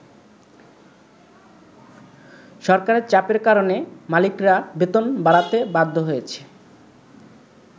সরকারের চাপের কারণে মালিকরা বেতন বাড়াতে বাধ্য হয়েছে।